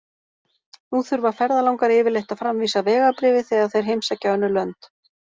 Nú þurfa ferðalangar yfirleitt að framvísa vegabréfi þegar þeir heimsækja önnur lönd.